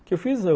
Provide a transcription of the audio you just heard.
O que eu fiz